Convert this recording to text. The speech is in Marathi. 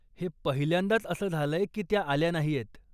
हे पहिल्यांदाच असं झालंय की त्या आल्या नाहीयेत.